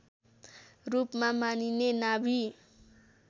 रूपमा मानिने नाभि